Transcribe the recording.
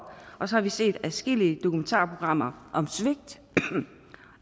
og så har vi set adskillige dokumentarprogrammer om svigt